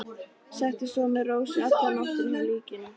Setið svo með Rósu alla nóttina hjá líkinu.